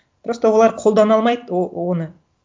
просто олар қолдана алмайды оны